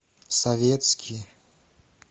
советский